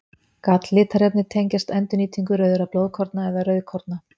Galllitarefni tengjast endurnýtingu rauðra blóðkorna eða rauðkorna.